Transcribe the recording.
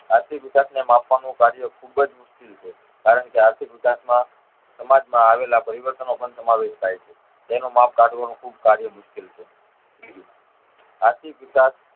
આર્થિક વિકાસ ને માપવા નું કાર્ય ખુબ જ મુશ્કેલ છે કારણ કે આર્થિક વિકાસમાં સમાજ માં આવેલા પરિવર્તનો પણ સમાવેશ થાય છે જેનું માપ કાઢવાનું ખુબ કાર્ય મુશ્કેલ છે ત્રીજું આર્થિક વિકાસ